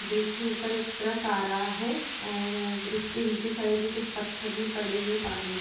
Bridge के ऊपर एक ट्रक आ रहा है और ब्रिज के नीचे साइड में कुछ पत्थर भी पड़े हुए हैं पानी में।